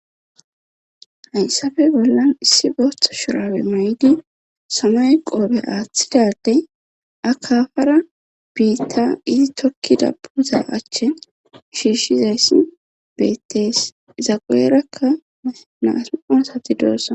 Hayssafe bollan issi booththo shurawe may'di samay qoobe aaththidadey akafara biitta izi tokkida puuza achche shiishizayssi bettees zaquerakka naasiqon sati doosana.